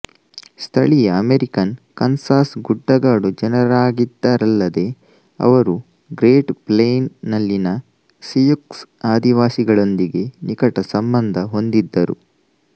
ಸ್ಥಳೀಯ American Kansas ಗುಡ್ಡಗಾಡು ಜನರಾಗಿದ್ದರಲ್ಲದೇ ಅವರು ಗ್ರೇಟ್ ಪ್ಲೇನ್ಸ್ ನಲ್ಲಿನ ಸಿಯುಕ್ಸ್ ಆದಿವಾಸಿಗಳೊಂದಿಗೆ ನಿಕಟ ಸಂಬಂಧ ಹೊಂದಿದ್ದರು